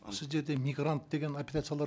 сіздерде мигрант деген операциялар